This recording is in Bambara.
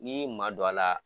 N'i y'i madon a la.